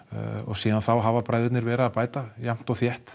síðan þá hafa bræðurnir verið að bæta jafnt og þétt